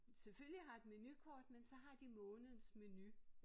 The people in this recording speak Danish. Selvfølgelig har et menukort men så har de månedens menu